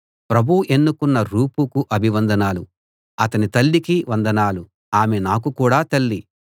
ప్రభువు ఎన్నుకున్న రూఫుకు అభివందనాలు అతని తల్లికి వందనాలు ఆమె నాకు కూడా తల్లి